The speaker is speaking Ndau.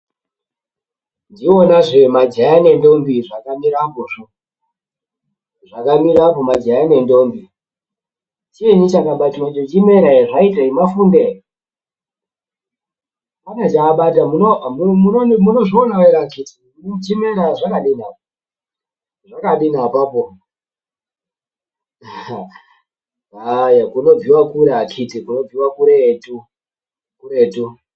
Ndiwonazve majaya nendombi zvakamira apozvo, zvakamirra apo majaya nendombi, chinyi chakabatwapo chimera ere zvaitei ,mafunde ere pane ,panechaabata, munozvionawo ere akiti, chimera ere zvakadini apapo, aah, kunobviwa kure akiti, kunobviwa kuretu.